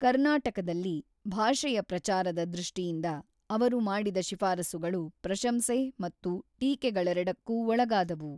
ಕರ್ನಾಟಕದಲ್ಲಿ ಭಾಷೆಯ ಪ್ರಚಾರದ ದೃಷ್ಟಿಯಿಂದ ಅವರು ಮಾಡಿದ ಶಿಫಾರಸುಗಳು ಪ್ರಶಂಸೆ ಮತ್ತು ಟೀಕೆಗಳೆರಡಕ್ಕೂ ಒಳಗಾದವು.